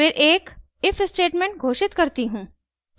फिर एक if statement घोषित करती हूँ